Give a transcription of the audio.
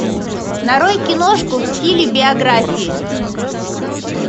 нарой киношку в стиле биографии